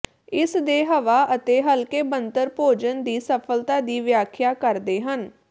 ਇਸ ਦੇ ਹਵਾ ਅਤੇ ਹਲਕੇ ਬਣਤਰ ਭੋਜਨ ਦੀ ਸਫਲਤਾ ਦੀ ਵਿਆਖਿਆ ਕਰਦੇ ਹਨ